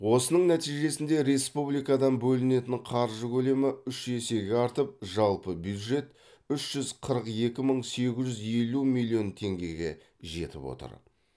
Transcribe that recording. осының нәтижесінде республикадан бөлінетін қаржы көлемі үш есеге артып жалпы бюджет үш жүз қырық екі мың сегіз жүз елу миллион теңгеге жетіп отыр